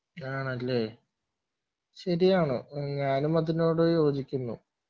ആണല്ലേ ശെരിയാണ് ഞാനും അതിനോട് യോജിക്കുന്നു